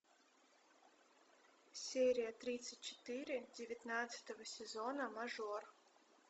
серия тридцать четыре девятнадцатого сезона мажор